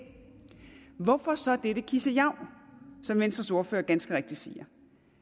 hvorfor så dette kissejav som venstres ordfører ganske rigtigt siger